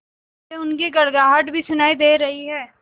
मुझे उनकी गड़गड़ाहट भी सुनाई दे रही है